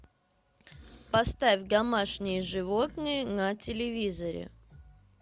поставь домашние животные на телевизоре